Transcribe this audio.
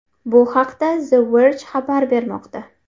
Bu haqda The Verge xabar bermoqda .